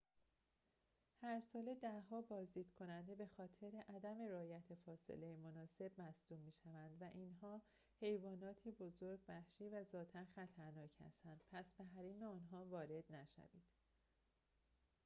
هرساله ده‌ها بازدیدکننده به‌خاطر عدم رعایت فاصله مناسب مصدوم می‌شوند اینها حیواناتی بزرگ وحشی و ذاتاً خطرناک هستند پس به حریم آنها وارد نشوید